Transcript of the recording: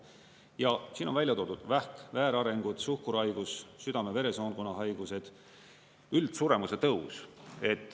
Ja siin on välja toodud: vähk, väärarengud, suhkruhaigus, südame-veresoonkonna haigused, üldsuremuse tõus.